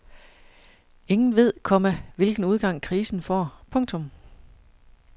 Ingen ved, komma hvilken udgang krisen får. punktum